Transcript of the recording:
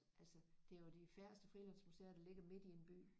Altså det er jo de færreste frilandsmuseer der ligger midt i en by